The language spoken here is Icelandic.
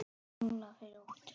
árla fyrir óttu